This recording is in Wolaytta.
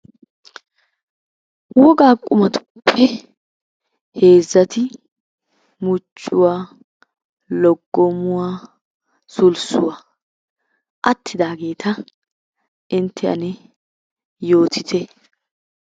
Wogaa qummatuppe heezzati muchchuwa, loggommuwa, sulssuwa attidaageta intte ane yoottitte.